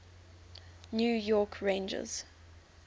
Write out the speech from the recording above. new york rangers